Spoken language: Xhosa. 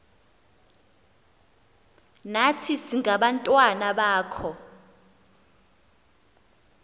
nathi singabantwana bakho